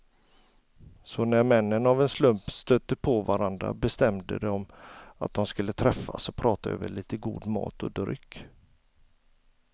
Så när männen av en slump stötte på varandra bestämde de att de skulle träffas och prata över lite god mat och dryck.